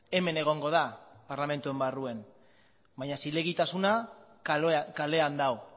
hemen egongo da parlamentuaren barruan baina zilegitasuna kalean dago